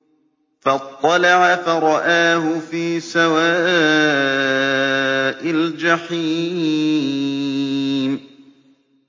فَاطَّلَعَ فَرَآهُ فِي سَوَاءِ الْجَحِيمِ